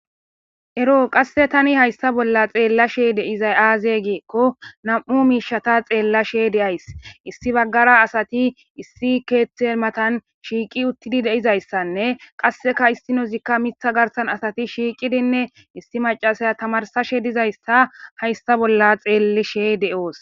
Ero qasse tani haysta bolla xeella she deizay aazegeekko nam7u miishata xeellashe de ays issi baggara asati issi keeththeematan shiiqi uttidi deizayssanne qasseka issinozikka mitha garsan asati shiiqidinne issi macasaya tamarsashe dizaysta haysta bolla xeellishe de7oos.